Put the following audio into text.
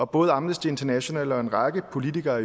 både amnesty international og en række politikere og